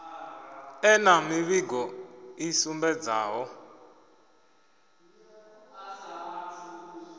ḓe na mivhigo i sumbedzaho